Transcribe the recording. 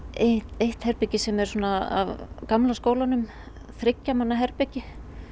eitt herbergi sem er af gamla skólanum þriggja manna herbergi